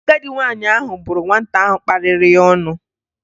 Agadị nwaanyị ahụ bụrụ nwata ahụ kparịrị ya ọnụ